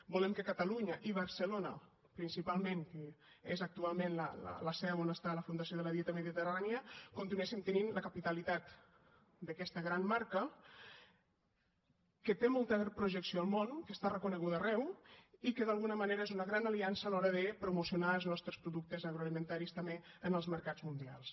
volem que catalunya i barcelona principalment que és actualment la seu on està la fundació de la dieta mediterrània continuessin tenint la capitalitat d’aquesta gran marca que té molta projecció al món que està reconeguda arreu i que d’alguna manera és una gran aliança a l’hora de promocionar els nostres productes agroalimentaris també en els mercats mundials